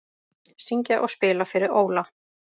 Syngja og spila fyrir Óla